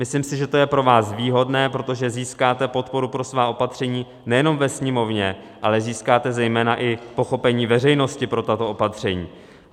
Myslím si, že to je pro vás výhodné, protože získáte podporu pro svá opatření nejenom ve Sněmovně, ale získáte zejména i pochopení veřejnosti pro tato opatření.